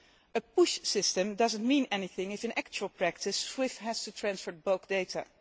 A push' system does not mean anything if, in actual practice, SWIFT has to transfer bulk data.